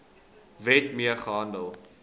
wet mee gehandel